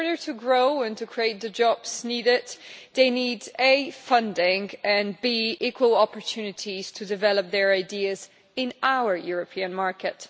In order to grow and create the jobs needed, they need both funding and equal opportunities to develop their ideas in our European market.